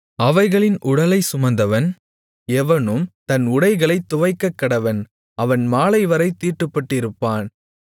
அவைகளின் உடலைச் சுமந்தவன் எவனும் தன் உடைகளைத் துவைக்கக்கடவன் அவன் மாலைவரைத் தீட்டுப்பட்டிருப்பான்